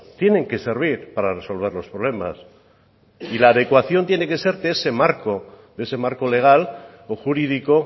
tienen que servir para resolver los problemas y la adecuación tiene que ser de ese marco de ese marco legal o jurídico